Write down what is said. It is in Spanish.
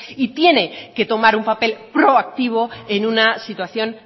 y tiene que tomar un papel proactivo en una situación